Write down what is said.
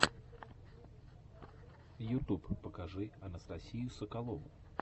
ютуб покажи анастасию соколову